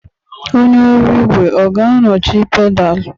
Onye ọrụ igwe ọ ga-anọchi pedal?